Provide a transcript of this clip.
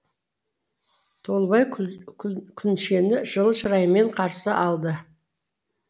толыбай күншені жылы шыраймен қарсы алды